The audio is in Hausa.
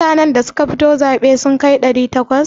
Mutanan da suka fito zaɓe sun kai ɗari takwas?